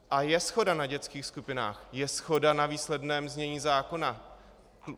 A je shoda na dětských skupinách, je shoda na výsledném znění zákona.